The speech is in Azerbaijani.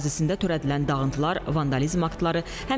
Qurbanqazı adına yaradıcılıq mərkəzi inşa olunub.